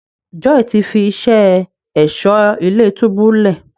Joy tí fí iṣé Ẹ̀ṣọ́ ilé-túbú lẹ.